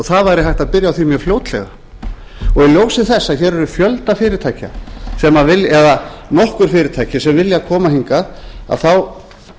það væri hægt að byrja á því mjög fljótlega og í ljósi þess að hér eru nokkur fyrirtæki sem vilja koma hingað að þá